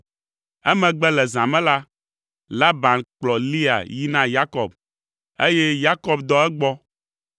Emegbe le zã me la, Laban kplɔ Lea yi na Yakob, eye Yakob dɔ egbɔ.